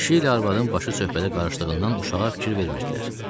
Kişi ilə arvadın başı söhbətə qarışdığından uşağa fikir vermirdilər.